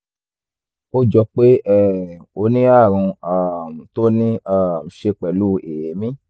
ó jọ pé um ó ní ààrùn um tó níí um ṣe pẹ̀lú èémí